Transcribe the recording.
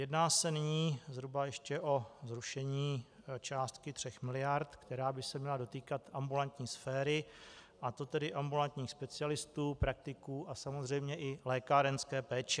Jedná se nyní zhruba ještě o zrušení částky 3 miliard, která by se měla dotýkat ambulantní sféry, a to tedy ambulantních specialistů, praktiků a samozřejmě i lékárenské péče.